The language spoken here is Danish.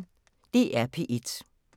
DR P1